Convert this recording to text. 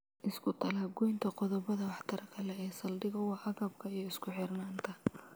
Iskutallaab-goynta qodobbada waxtarka leh ee saldhigga u ah agabka iyo isku xirnaanta